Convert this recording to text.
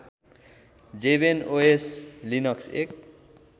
जेभेनओएस Linux एक